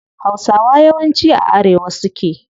Hausawa yawanci a arewa suke